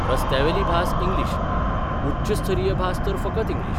रस्त्यावेली भास इंग्लीश उच्चस्तरीय भास तर फकत इंग्लीश.